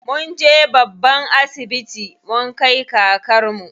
Munje babban asibiti mun kai kakarmu.